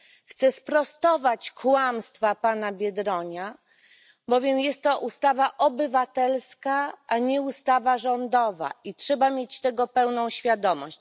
Chcę sprostować kłamstwa pana Biedronia, bowiem jest to ustawa obywatelska, a nie ustawa rządowa, i trzeba mieć tego pełną świadomość.